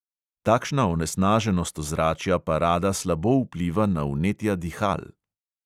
Takšna onesnaženost ozračja pa rada slabo vpliva na vnetja dihal.